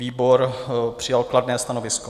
Výbor přijal kladné stanovisko.